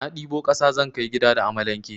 Na ɗibo kasa zan kai gida da amalanke.